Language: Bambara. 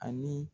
Ani